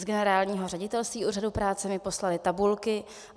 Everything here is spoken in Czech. Z Generálního ředitelství Úřadu práce mi poslali tabulky.